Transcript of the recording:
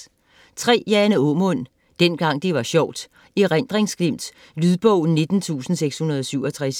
Aamund, Jane: Dengang det var sjovt: erindringsglimt Lydbog 19667